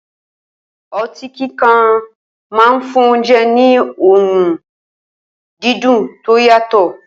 O̩tí kíkan máa ń fún oúnje̩ ní òórùn dídùn tó yàtò̩